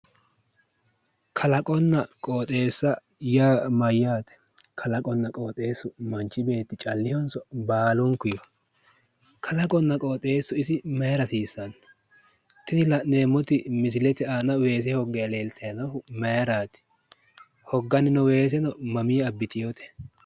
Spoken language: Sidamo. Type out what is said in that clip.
kalaqonna qooxeessa yaa mayyaate? kalaqonna qooxeessu manchi beetti callunnihonso baalunniho? kalaqonna qooxeessu isi mayiira hasiissanno? tini la'neemmoti misilete aana weese hogganni leeltanni noohu mayiirrati? hogganni noo weeseno mamii abbitinote/